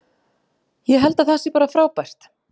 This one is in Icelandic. Ég held að það sé bara frábært.